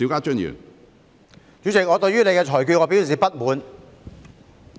主席，我對你的裁決表示不滿。